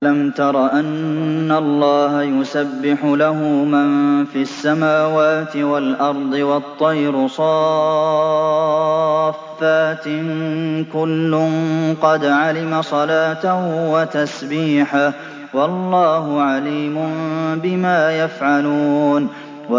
أَلَمْ تَرَ أَنَّ اللَّهَ يُسَبِّحُ لَهُ مَن فِي السَّمَاوَاتِ وَالْأَرْضِ وَالطَّيْرُ صَافَّاتٍ ۖ كُلٌّ قَدْ عَلِمَ صَلَاتَهُ وَتَسْبِيحَهُ ۗ وَاللَّهُ عَلِيمٌ بِمَا يَفْعَلُونَ